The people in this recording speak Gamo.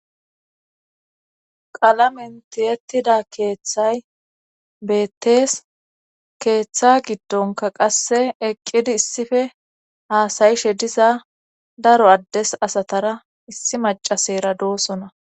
qalamentiyettida keeththay beettees keeththa giddonka qasse eqqidi issife haasayishe diza daro addes asatara issi macasayra doosona